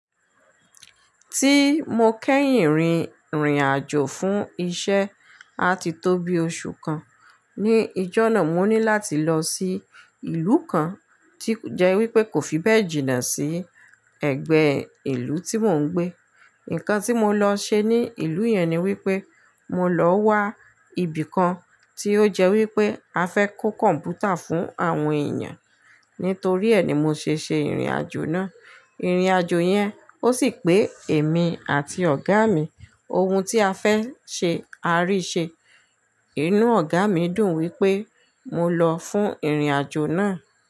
Tí mo kẹ́yìn rin ìrìnàjò fún iṣẹ́ a ti tó bí oṣù kan. Ni ijọ́ náà mo ní láti lọ sí ìlú kan tí o jẹ́ wípé kò fi bẹ́ẹ̀ jìnnà sí ẹ̀gbẹ́ ìlú tí mò ń gbé. Ǹkan tí mo lọ ṣe ní ìlú yẹn ni wípé mo lọ wá ibìkan tí ó jẹ́ wípé a fẹ́ kó kọ̀m̀pútà fún àwọn èèyàn. Nítorí ẹ̀ ni mo ṣe ṣe ìrìnàjò náà. Ìrìnàjò yẹn ó sì pé èmi àti ọ̀gá mi. Ohun tí a fẹ́ ṣe a rí i ṣe. Inú ọ̀gá mi dùn wípé mo lọ fún ìrìnàjò náà.